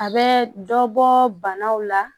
A bɛ dɔbɔ banaw la